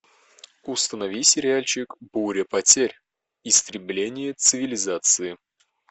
установи сериальчик буря потерь истребление цивилизации